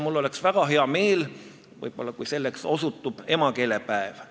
Mul oleks väga hea meel, kui selleks osutuks emakeelepäev.